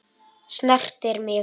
Snertir mig.